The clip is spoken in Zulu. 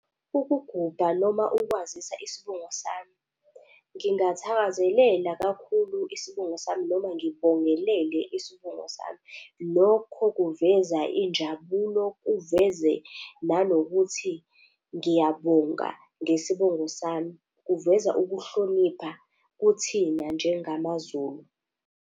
Ukugubha noma ukwazisa isibongo sami, ngingathakazelela kakhulu isibongo sami, noma ngibongelele isibongo sami. Lokho kuveza injabulo, kuveze nanokuthi ngiyabonga ngesibongo sami. Kuveza ukuhlonipha kuthina njengamaZulu.